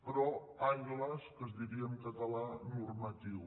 però ai las que es diria en català normatiu